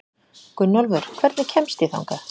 Gunnólfur, hvernig kemst ég þangað?